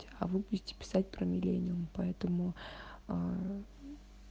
а вы будете писать про миллениум поэтому аа